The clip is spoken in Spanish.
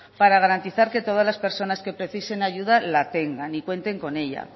para garantizar que todas las personas que precisen ayuda la tengan y que cuenten con ella